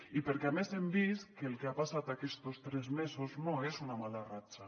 i perquè a més hem vist que el que ha passat aquestos tres mesos no és una mala ratxa